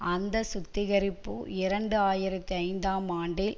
அந்த சுத்திகரிப்பு இரண்டு ஆயிரத்தி ஐந்தாம் ஆண்டில்